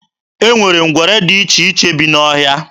E nwere ngwere dị iche iche bi n'ọhịa.